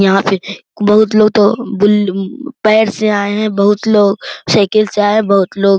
यहाँ पे बहुत लोग तो पैर से आए हुए हैं बहुत लोग साइकिल से आए है बहुत लोग --